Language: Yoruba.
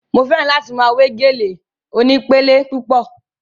Mo fẹ́ràn láti máa we gèlè onípele púpọ̀